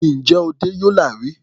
Ǹjẹ́ o dẹ́ Yola rí?